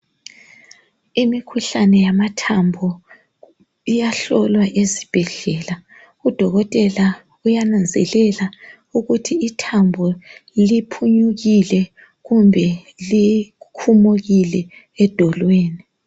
Imikhuhlane yamathambo iyahlolwa ezibhedlela udokotela uyananzelela ukuthi ithambo liphunyukile kumbe likhumukile edolweni.